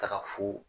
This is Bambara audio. Taga fo